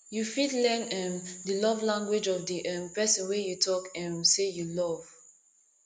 you fit learn um di love language of di um perosn wey you talk um sey you love